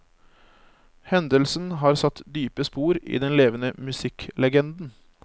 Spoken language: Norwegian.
Hendelsen har satt dype spor i den levende musikklegenden.